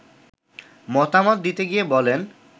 মতামত দিতে গিয়ে বলেন